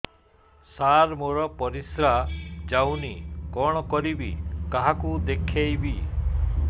ସାର ମୋର ପରିସ୍ରା ଯାଉନି କଣ କରିବି କାହାକୁ ଦେଖେଇବି